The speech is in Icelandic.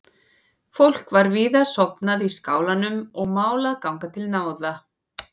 Fólk var víða sofnað í skálanum og mál að ganga til náða.